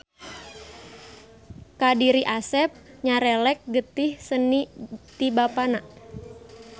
Ka diri Asep nyerelek getih seni ti Bapana.